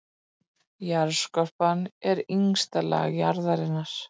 Jarðskorpan er ysta lag jarðarinnar.